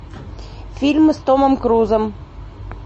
фильмы с томом крузом